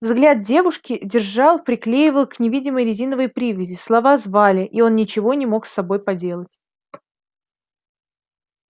взгляд девушки держал приклеивал к невидимой резиновой привязи слова звали и он ничего не мог с собой поделать